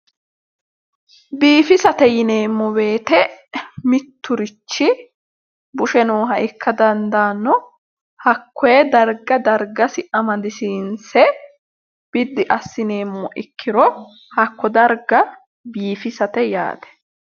Biigisate yineemmo wooyiite mitturichi bushe nooha ikka dandaanno hakkoye darga dargasi amadisiinse biddi assineemmo ikkiro hakko darga biifisate yaate.